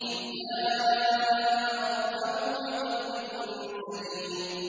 إِذْ جَاءَ رَبَّهُ بِقَلْبٍ سَلِيمٍ